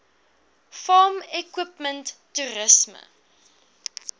farm equipment toerisme